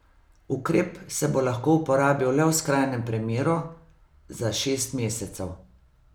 Ukrep se bo lahko uporabil le v skrajnem primeru, za šest mesecev.